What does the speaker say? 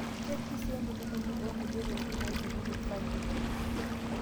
Kepiki sii entulugumi oo nkulie tokitin naailepunye falio.